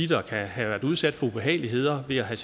der kan have været udsat for ubehageligheder ved at have